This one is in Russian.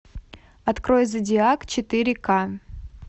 открой зодиак четыре ка